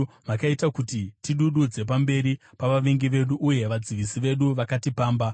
Makaita kuti tidududze pamberi pavavengi vedu, uye vadzivisi vedu vakatipamba.